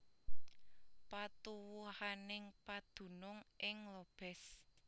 Patuwuhaning padunung ing Lobez